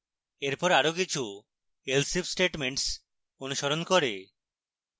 এরপর আরো কিছু else if statements অনুসরণ করে